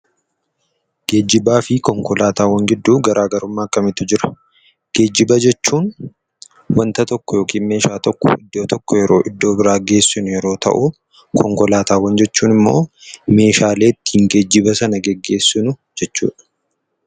Geejjiba fi konkolaataawwan giduu garagarummaa akkamitu jira? Geejjiba jechuun wanta tokko yookiin meeshaa tokko iddoo tokko iddoo biraa gessinuu yeroo ta'u Konkolaataawwan jechuun immoo meeshaalee ittin geejjiba sana geggesinuu jechuudha.